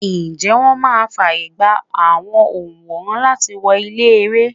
Ǹjẹ́ wón máa fàyègba àwọn onworan láti wọ ilé-ère?